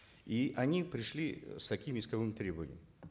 и они пришли с таким исковым требованием